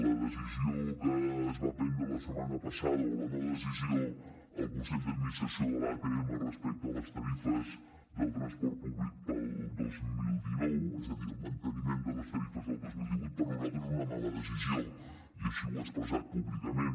la decisió que es va prendre la setmana passada o la no decisió al consell d’administració de l’atm respecte a les tarifes del transport públic per al dos mil dinou és a dir el manteniment de les tarifes del dos mil divuit per a nosaltres és una mala decisió i així ho he expressat públicament